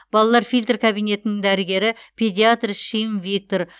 балалар фильтр кабинетінің дәрігері педиатр шим виктор